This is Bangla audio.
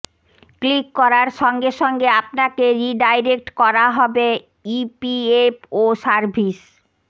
ক্লিক করার সঙ্গে সঙ্গে আপনাকে রিডাইরেক্ট করা হবে ইপিএফওসার্ভিস